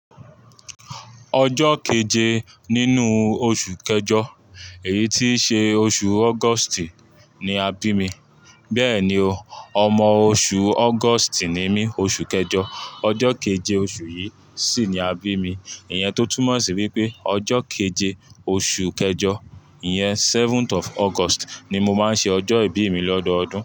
Ọjọ́ keje nínú oṣù kẹjọ èyí tí ṣe oṣù August ni a bí mi. Bẹ́ẹ̀ni o, ọmọ oṣù August ni mí, oṣù kẹjọ. Ọjọ́ keje oṣù yìí sì ni a bí mi. Ìyẹn tó túmọ̀ sí wípé ọjọ́ keje oṣù kẹjọ, ìyẹn seventh of August ni mo máa ń ṣe ọjọ́ ìbí mi lọ́dọọdún.